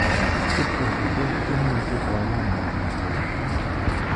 "Sweden, tos imuchi koyan ng'o ng'alechu